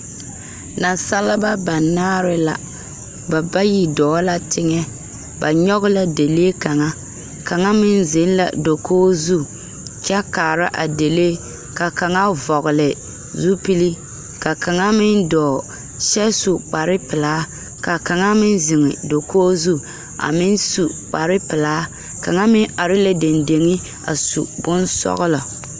Naasaleba banaare la ba bayi dɔɔ la teŋɛ ba nyoge la dalee kaŋa kaŋa meŋ zeŋ la dakoge zu kyɛ kaara a delee ka kaŋa vɔgle zupile ka kaŋa meŋ dɔɔ kyɛ su kparepilaa ka kaŋa meŋ zeŋ dakoge zu a meŋ su kparepilaa kaŋa meŋ are la deŋdeŋe a su bonsɔglɔ.